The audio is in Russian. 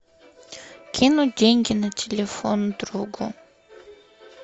кинуть деньги на телефон другу